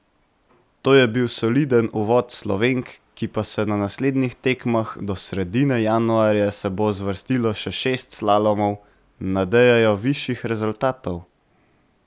To je bil soliden uvod Slovenk, ki pa se na naslednjih tekmah, do sredine januarja se bo zvrstilo še šest slalomov, nadejajo višjih rezultatov.